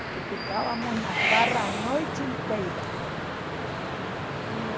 Porque ficávamos na farra a noite inteira. E